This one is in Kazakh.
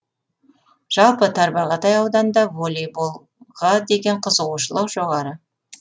жалпы тарбағатай ауданында волейбол деген қызығушылық жоғары